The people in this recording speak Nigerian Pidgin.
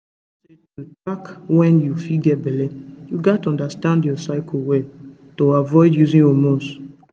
you know say to track when you fit get belle you gats understand your cycle well to avoid using hormones